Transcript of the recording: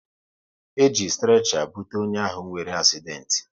E ji strecha bute onye ahụ nwere asident